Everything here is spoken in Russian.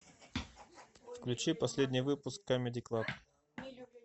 включи последний выпуск камеди клаб